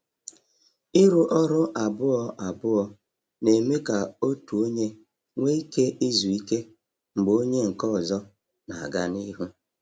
Ịrụ ọrụ abụọ abụọ na-eme ka otu onye nwee ike izu ike mgbe onye nke ọzọ na-aga n’ihu.